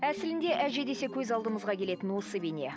әсілінде әже десе көз алдымызға келетін осы бейне